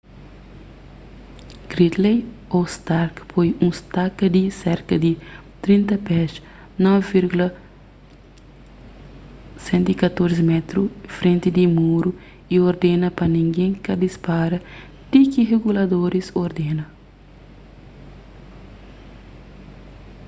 gridley ô stark poi un staka di serka di 30 pes 9,114 m frenti di muru y ordena pa ningen ka dispara ti ki riguladoris ordena